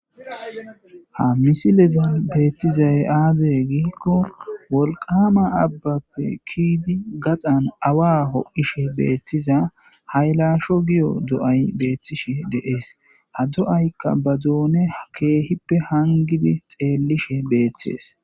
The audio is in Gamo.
Ha misileze beettizay aaze giikko wolqama abbappe kiidi gaxan awa ho'ishe beettiza haylasho giyo do'ay beettishi deees ha do'aykka ba doone ha keehippe hangidi xeellishe beettees.